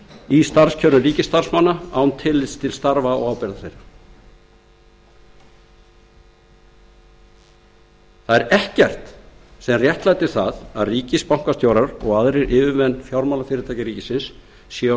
í starfskjörum ríkisstarfsmanna án tillits til starfa og ábyrgðar þeirra það er ekkert sem réttlætir það að ríkisbankastjórar og aðrir yfirmenn fjármálafyrirtækja ríkisins séu á sérkjörum og